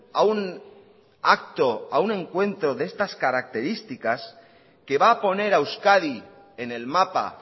a un acto a un encuentro de estas características que va a poner a euskadi en el mapa